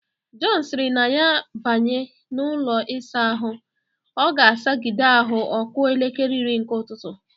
Jọn sịrị na ya banye n'ụlọ ịsa ahụ, ọ ga-asagide ahụ ọ kụọ elekele iri nke ụtụtụ.